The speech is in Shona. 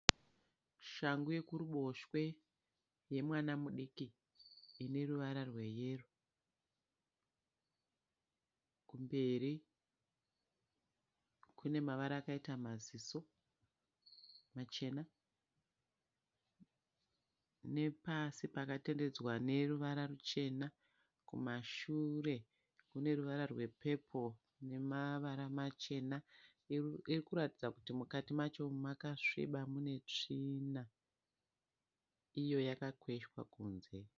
Shangu yekuruboshwe yemwana mudiki ineruvara rweyero. Kumberi kune mavara akaita maziso machena nepasi pakatenderedzwa neruvara ruchena. Kumashure kune ruvara rwe pepuru nemavara machena. Irikuratidza kuti mukati macho makasviba munetsvina. Iyo yakakweshwa kunze.